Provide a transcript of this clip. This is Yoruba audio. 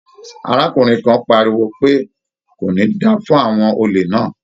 Arákùnrin kan pariwo pé "kò ní da fún àwọn olè náà".